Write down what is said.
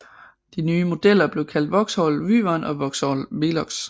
De nye modeller blev kaldt Vauxhall Wyvern og Vauxhall Velox